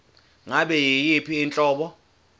ngabe yiyiphi inhlobo